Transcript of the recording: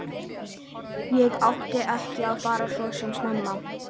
Ég átti ekki að fara svona snemma.